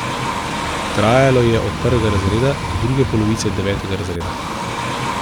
Trajalo je od prvega razreda do druge polovice devetega razreda.